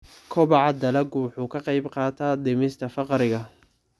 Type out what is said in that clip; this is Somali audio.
Kobaca dalaggu wuxuu ka qayb qaataa dhimista faqriga.